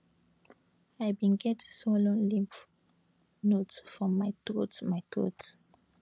i bin get swollen lymph nodes for my throat my throat